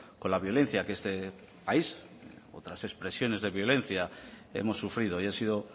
con la violencia que este país otras expresiones de violencia hemos sufrido y han sido